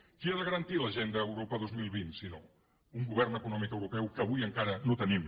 qui ha de garantir l’agenda europa dos mil vint si no un govern econòmic europeu que avui encara no tenim